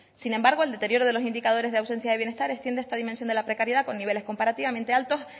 sin embargo el deterioro de los indicadores de ausencia de bienestar extiende esta dimensión de la precariedad con niveles comparativamente altos